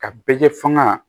Ka bɛɛ kɛ fanga